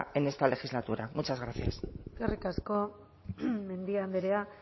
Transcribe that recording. en esta legislatura muchas gracias eskerrik asko mendia andrea